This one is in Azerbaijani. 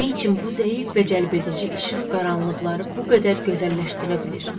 Nə üçün bu zəif və cəlbedici işıq qaranlıqları bu qədər gözəlləşdirə bilir?